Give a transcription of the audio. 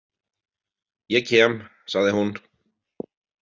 Ég kem, sagði hún.